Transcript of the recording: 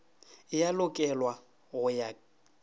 e a lokelwa go ya